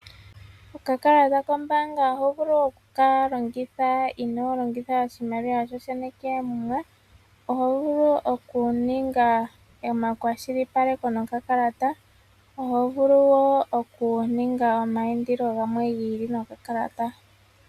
Okakalata kombaanga oho vulu oku kalongitha inoolongitha oshimaliwa sho shene koomuma, oho vulu okuninga omakwashilipaleko nokakalata. Oho vulu wo okuninga omayindilo gamwe giili nokakalata.